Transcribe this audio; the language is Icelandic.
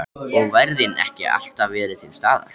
Og værðin ekki alltaf verið til staðar.